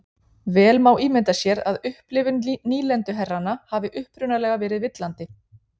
Vel má ímynda sér að upplifun nýlenduherranna hafi upprunalega verið villandi.